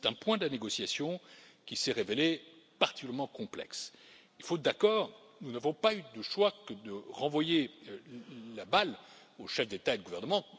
C'est un point de la négociation qui s'est révélé particulièrement complexe et, faute d'accord, nous n'avons pas eu d'autre choix que de renvoyer la balle aux chefs d'État et de gouvernement.